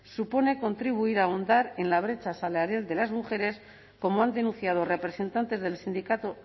supone contribuir a ahondar en la brecha salarial de las mujeres como han denunciado representantes del sindicato